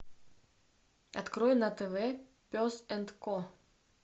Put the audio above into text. открой на тв пес энд ко